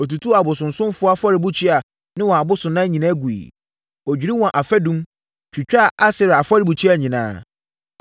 Ɔtutuu abosonsomfoɔ afɔrebukyia ne wɔn abosonnan nyinaa guiɛ. Ɔdwirii wɔn afadum, twitwaa Asera afɔrebukyia nyinaa.